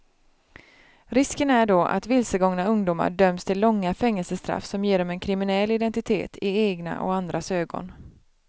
Risken är då att vilsegångna ungdomar döms till långa fängelsestraff som ger dem en kriminell identitet i egna och andras ögon.